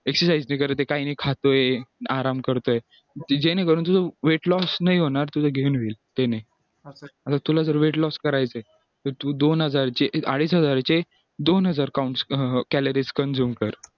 exercise नाही करते नाही खातोय आराम करतोय ज्याने करून तू weight loss नाही होणार तुझा gain होईल गर तुला जर weight loss करायचे तर तू दोन हजार चे अडीच हजार चे दोन हजार points calories consume कर